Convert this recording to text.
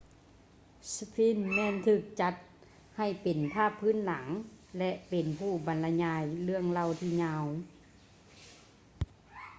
sphinx ແມ່ນຖືກຈັດໃຫ້ເປັນພາບພື້ນຫຼັງ ແລະ ເປັນຜູ້ບັນລະຍາຍເລື່ອງເລົ່າທີ່ຍາວ